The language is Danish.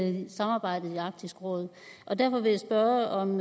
hele samarbejdet i arktisk råd derfor vil jeg spørge om